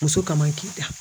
Muso kama k'i ta